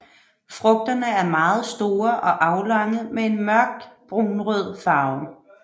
Frugterne er meget store og aflange med en mørkt brunrød farve